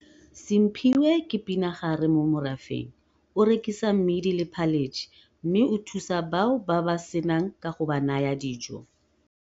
Simphiwe ke pinagare mo morafeng, o rekisa mmidi le phaletšhe mme o thusa bao ba ba se nang ka go ba naya dijo.